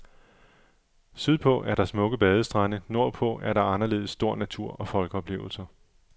Sydpå er der smukke badestrande, nordpå er der anderledes stor natur og folkeoplevelser.